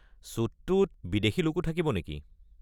শ্বুটটোত বিদেশী লোকো থাকিব নেকি?